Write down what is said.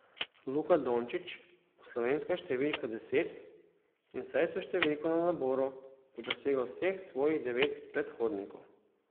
Luka Dončić bo slovenska številka deset in vsaj s številko na naboru bo presegel vseh svojih devet predhodnikov.